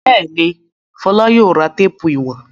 Bẹ́ẹ̀ ni, Fọlá yóò ra téépù ìwọ̀n.